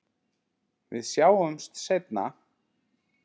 Við sjáumst seinna.